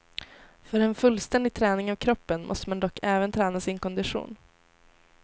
För en fullständig träning av kroppen måste man dock även träna sin kondition.